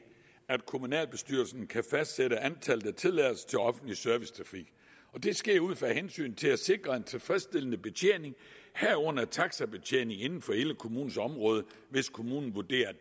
at kommunalbestyrelsen kan fastsætte antallet af tilladelser til offentlig servicetrafik det sker ud fra hensynet til at sikre en tilfredsstillende betjening herunder taxibetjening inden for hele kommunens område hvis kommunen vurderer at